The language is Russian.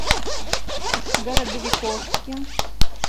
городовиковске